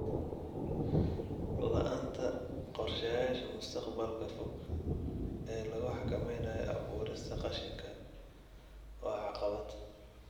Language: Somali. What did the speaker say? La'aanta qorshayaasha mustaqbalka fog ee lagu xakameynayo abuurista qashinka waa caqabad.